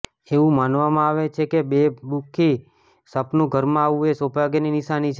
એવું માનવમાં આવે છે કે બે મુખી સાપનું ઘરમાં આવવું એ સૌભાગ્યની નિશાની છે